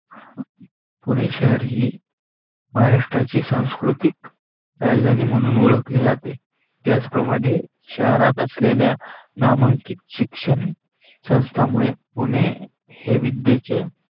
पुणे शहर महाराष्ट्राची संस्कृतीक राजधानी मानून ओळखाली जाते. त्याचप्रमाणे अहरात असलेल्या नामांकित शिक्षण संथामुळे पुणे हे विध्येचे